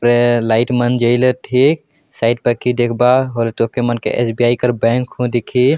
अ light मन जइलत है साइड पाखी देखबा होरे तोके मन के स. बी. ई. कर हु दिखहि।